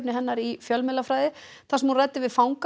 hennar í fjölmiðlafræði þar sem hún ræddi við fanga